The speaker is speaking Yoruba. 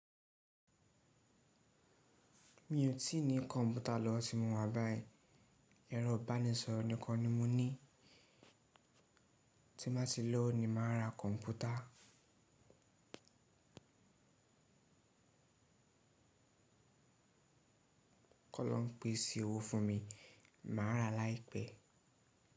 Mi ò tíì ní kọ̀ǹpútà lọ́wọ́ tí mo wá báyìí. Ẹ̀rọ ìbánisọ̀rọ̀ nìkan ni mo ní. Tí n bá ti lowo ni màá ra kọ̀ǹpútà. Kọ́ loruń pèsè owó fún mi, màá ra láìpẹ́.